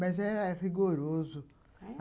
Mas era rigoroso... É?